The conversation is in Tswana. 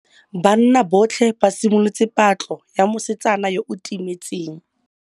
Banna botlhê ba simolotse patlô ya mosetsana yo o timetseng.